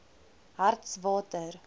hartswater